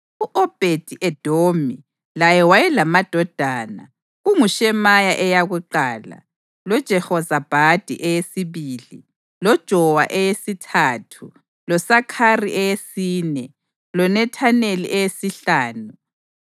U-Obhedi-Edomi laye wayelamadodana: kunguShemaya eyakuqala, loJehozabhadi eyesibili, loJowa eyesithathu, loSakhari eyesine, loNethaneli eyesihlanu,